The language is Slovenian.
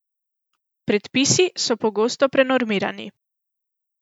Predpisi so pogosto prenormirani.